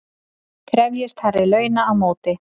Krefjist hærri launa á móti